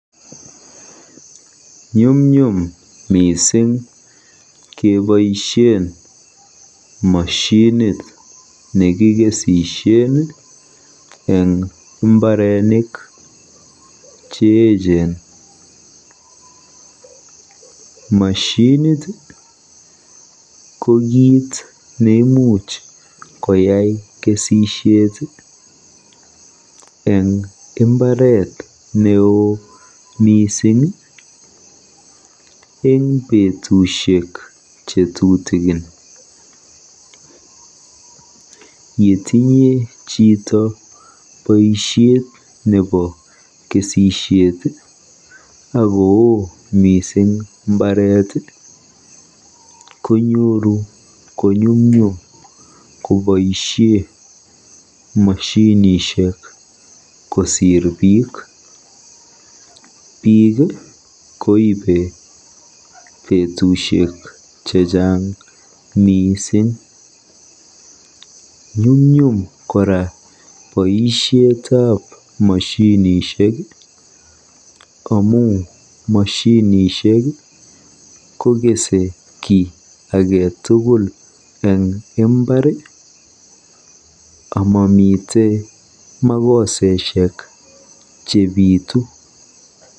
Nyumnyum mising keboisie moshinit nekikesisie eng mbaronik cheechen. Moshinit ko kitnemuch koyai kesisiet eng mbaret neo mising eng betusiek che tutikin. Yetinye chito kesisiet akoo mising mbaret konyoru konyumnyum koboisie moshinishek kosiir biik. Biik koibe betusiek chechang mising. Nyumnyum kora boisieteb moshinishek kosiir biik amu moshinishek kokese kiy age tugul eng mbar amamitei makoseshek chebitu.